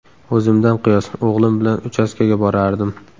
O‘zimdan qiyos: o‘g‘lim bilan uchastkaga borardim.